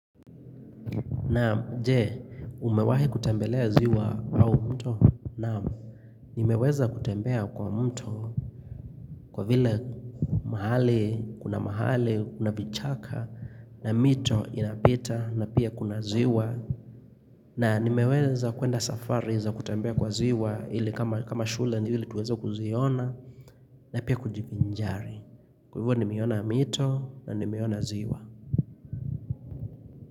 Naam, jee, umewahi kutembelea ziwa au mto. Naam, nimeweza kutembea kwa mto kwa vile mahali, kuna mahali, kuna vichaka, na mito inapita, na pia kuna ziwa. Na, nimeweza kuenda safari za kutembea kwa ziwa, ili kama shule, ili tuweza kuziona, na pia kujiviinjari. Kwa vile nimeona mito, na nimeona ziwa.